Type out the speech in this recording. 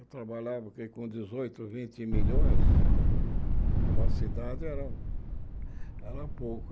Eu trabalhava com dezoito, vinte milhões, para uma cidade era era pouco.